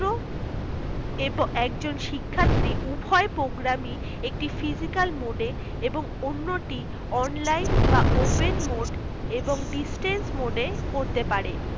এবং একজন শিক্ষার্থী উভয় program ই একটি physical mode এ এবং অন্য টি online বা open এবং distance mode এ করতে পারে